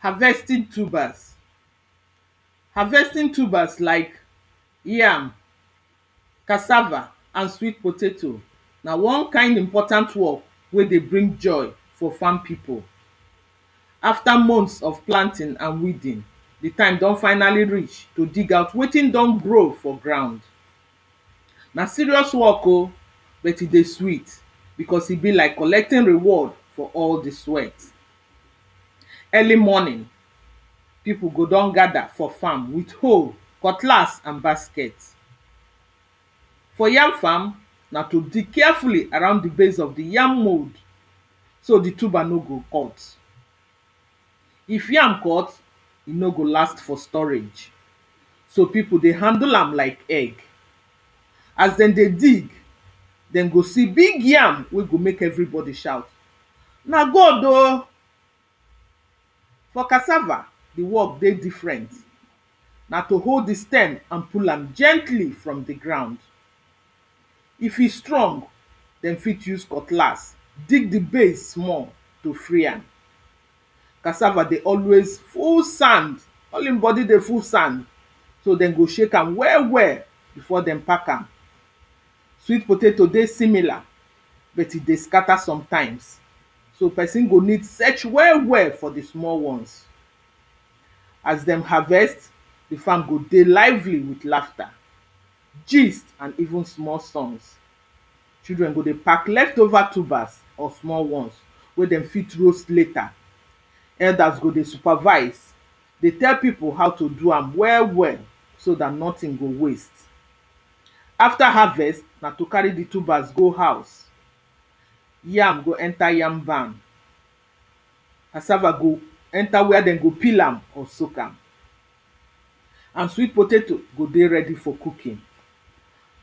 Harvesting tubers Harvesting tubers like pause yam pause cassava and sweet potato na wan kain important work wey dey bring joy for farm pipo After months of planting and weeding di time don finally reach to dig out wetin don grow for ground Na serious work o pause but e dey sweet because e be like collected reward for all di sweat Early morning pause pipo go don gather, with hoe, cutlass and basket For yaam farm na to dig carefully around the base of di yam mold so di tuber nor go cut pause. If yam cut, e nor go last for storage So pipo dey handle am like egg pause As dem dey dig Dem go see big yam, wen go make everybody shout pause na God o For cassava pause di work dey different Na to hold di stem and pull am gently from di ground If e strong pause dem fit use cutlass dig di place small to free am Cassava dey always full sand. All im body dey full sand So dem go shake am well well before dem pack am. Sweet potato dey similar but e dey scatter sometimes. So pesin go need search well well for di small wans As dem harvest pause di farm go dey lively with lafta gist and even small songs. Children go dey pack leftover tubers of small wans wey dem fit roast later. Elders go dey supervise dey tell pipo how to do am well well so dat nothing go waste After harvest, na to carry di tubers go house yam go enter yam barn pause. cassava go enter where dem go peel am or soak am And sweet potato go ready for cooking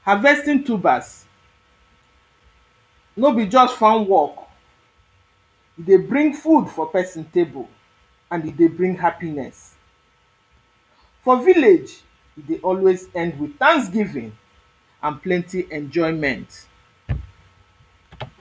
Harvesting tubers pause nor be just farm work E dey bring food for pesin table pause and e dey bring happiness For village pause e dey always end with thanksgiving and plenty enjoyment